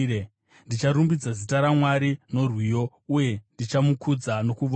Ndicharumbidza zita raMwari norwiyo, uye ndichamukudza nokuvonga.